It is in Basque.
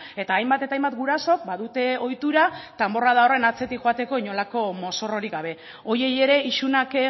eta hainbat eta hainbat gurasok badute ohitura danborrada horren atzetik joateko inolako mozorrorik gabe horiei ere isunak